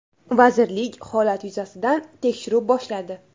Vazirlik holat yuzasidan tekshiruv boshladi.